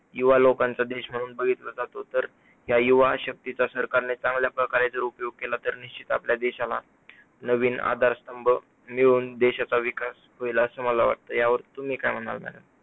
युवा लोकांचा देश म्हणून बघितलं जातो, तर या युवा शक्तीचा सरकारने चांगल्याप्रकारे जर उपयोग केला, तर निश्चित आपल्या देशाला नवीन आधारस्तंभ मिळून देशाचा विकास होईल असं मला वाटतंय, यावर तुम्ही काय म्हणणार madam